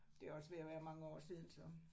Det også ved at være mange år siden så